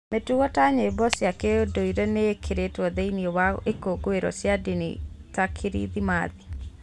Mĩtugo ta nyĩmbo cia kĩndũire nĩ ĩkĩrĩtwo thĩinĩ wa ikũngũĩro cia ndini ta Kirithimathi.